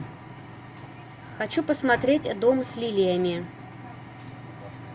хочу посмотреть дом с лилиями